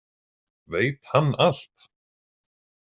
Veit hann allt?